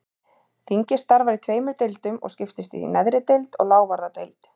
Þingið starfar í tveimur deildum og skiptist í neðri deild og lávarðadeild.